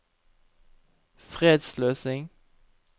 fredsløsning